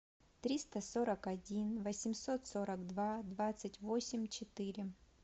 триста сорок один восемьсот сорок два двадцать восемь четыре